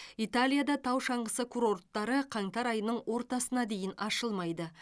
италияда тау шаңғысы курорттары қаңтар айының ортасына дейін ашылмайды